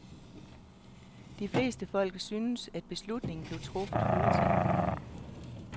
De fleste folk synes, at beslutningen blev truffet hurtigt.